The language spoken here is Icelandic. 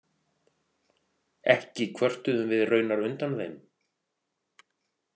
Ekki kvörtuðum við raunar undan þeim.